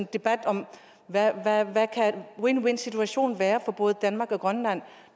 debat om hvad en win win situation kan være for både danmark og grønland